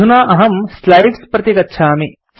अधुना अहम् स्लाइड्स् प्रति गच्छामि